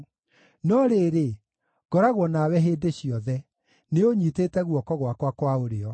No rĩrĩ, ngoragwo nawe hĩndĩ ciothe; nĩũũnyiitĩte guoko gwakwa kwa ũrĩo.